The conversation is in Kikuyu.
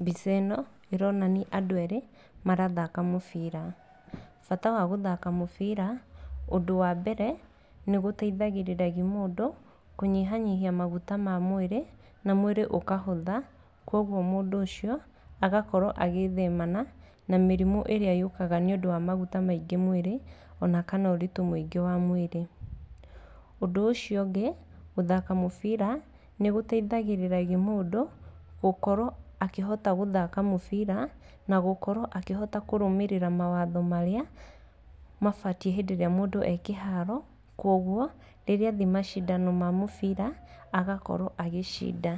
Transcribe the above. Mbica ĩno ĩronania andũ erĩ marathaka mũbira. Bata wa gũthaka mũbira, ũndũ wa mbere, nĩ gũteithagĩrĩria mũndũ kũnyihanyihia maguta ma mwĩrĩ na mwĩrĩ ũkahũtha. Koguo mũndũ ũcio agakorwo agĩĩthemana na mĩrimũ ĩrĩa yũkaga nĩ ũndũ wa maguta maingĩ mwĩrĩ ona kana ũritũ mũingĩ wa mwĩrĩ. Ũndũ ũcio ũngĩ wa gũthaka mũbira nĩ gũteithagĩrĩria mũndũ gũkorwo akĩhota gũthaka mũbira na gũkorwo akĩrũmĩrĩra mawatho marĩa mabatiĩ hĩndĩ ĩrĩa mũndũ e kĩharo. Koguo rĩrĩa athiĩ macindano ma mũbira agakorwo agĩcinda.